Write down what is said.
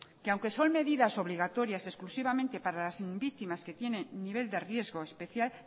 que aunque son medidas obligatorias exclusivamente para las víctimas que tienen nivel de riesgo especial